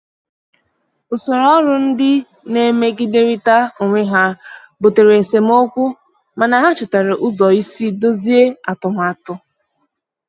Usoro ọrụ ndị na-emegiderịta onwe ha butere esemokwu, mana ha chọtara ụzọ isi dọzie atụmatụ.